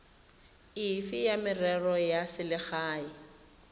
efe ya merero ya selegae